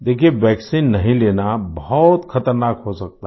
देखिए वैक्सीन नहीं लेना बहुत ख़तरनाक हो सकता है